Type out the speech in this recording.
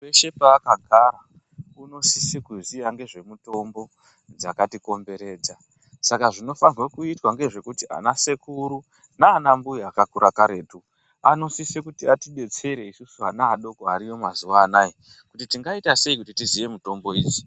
Peshe pakagara anosisa kuziva nezvemitombo dzakati komberedza Saka zvinofana kuitwa ndezvekuti ana sekuru nana mbuya akakura karetu vanosisa kuti atidetsera vana vemazuva ano kuti tingaita sei tizive mitombo idzi.